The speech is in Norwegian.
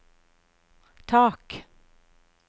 tak